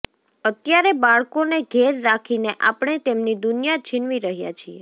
અત્યારે બાળકોને ઘેર રાખીને આપણે તેમની દુનિયા છીનવી રહ્યાં છીએ